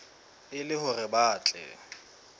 e le hore ba tle